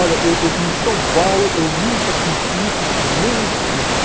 Olha, eu eu em São Paulo eu nunca senti isso por nem um segundo.